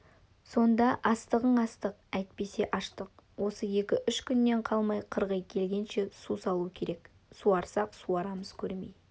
сонда астығың астық әйтпесе аштық осы екі-үш күннен қалмай қырғи келгенше су салу керек суарсақ-суарамыз көрмей